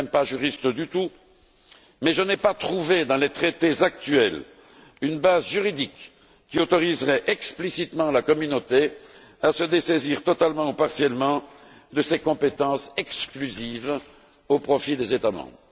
Je ne suis même pas juriste du tout, mais je n'ai pas trouvé dans les traités actuels une base juridique qui autoriserait explicitement la Communauté à se dessaisir totalement ou partiellement de ses compétences exclusives au profit des États membres.